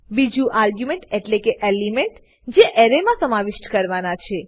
બીજું આર્ગ્યુમેન્ટ એટલેકે એલિમેન્ટ જે એરેમા સમાવિષ્ઠ કરવાના છે